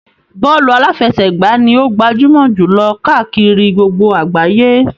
Bọ́ọ̀lù aláfẹsẹ̀gbá ni ó gbajúmọ̀ jù lọ káàkiri gbogbo àgbáyé.